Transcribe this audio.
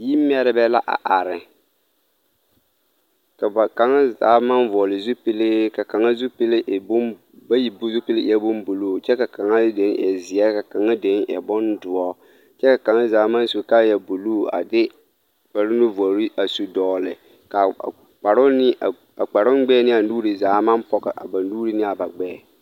Yi mɛrebɛ la a are ka ba kaŋ zaa maŋ vɔgle zupilee ka kaŋa zupile e bon bayi zupile eɛɛ bon bluu kyɛ ka kaŋa dene e zeɛ ka kaŋa den e bondoɔ kyɛ ka kaŋa zaa maŋ su kaayɛ bluu a de kpare nuvorre a su dɔgle ka a kparoŋ ne a kparoŋ gbɛɛ ne a nuure zaa maŋ pɔge a ba nuure ne a ba gbɛɛ.